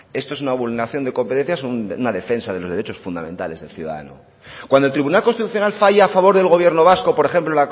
esto es una vulneración de competencias o una defensa de los derechos fundamentales del ciudadano cuando el tribunal constitucional falla a favor del gobierno vasco por ejemplo